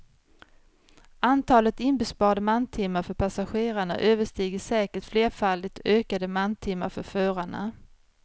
Antalet inbesparade mantimmar för passagerarna överstiger säkert flerfaldigt ökade mantimmar för förarna.